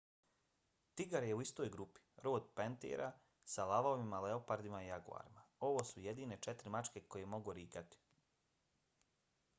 tigar je u istoj grupi rod panthera sa lavovima leopardima i jaguarima. ovo su jedine četiri mačke koje mogu rikati